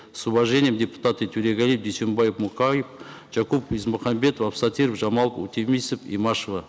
с уважением депутаты торегалиев дюйсенбаев мукаев жакупов есмухамбетов абсатиров жамалов утемисов имашева